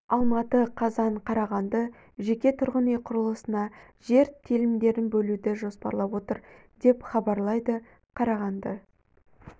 алматы қазан қарағанды жеке тұрғын үй құрылысына жер телімдерін бөлуді жоспарлап отыр деп хабарлайды қарағанды